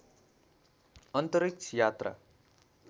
अन्तरिक्ष यात्रा